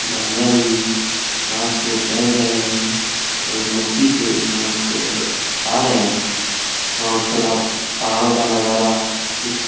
जानवर भी घास को चर रहे हैं। बहुत मस्ती से घास को खा रहे हैं और तालाब पहाड़ों का नजारा कुछ --